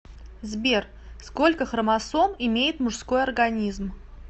сбер сколько хромосом имеет мужской организм